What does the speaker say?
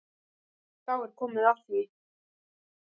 Þá er komið að því.